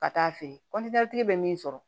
Ka taa fɛ bɛ min sɔrɔ